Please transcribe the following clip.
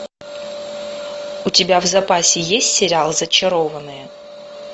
у тебя в запасе есть сериал зачарованные